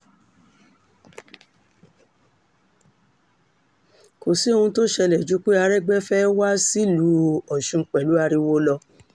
kò sì sóhun tó ṣẹlẹ̀ ju pé aregbe fẹ́ẹ́ wá sílùú ọ̀ṣun pẹ̀lú ariwo lọ